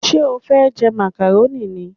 Ṣé o fẹ́ jẹ màkàrónì ni?